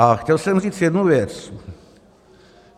A chtěl jsem říct jednu věc.